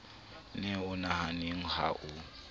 ne o nahanneng ha o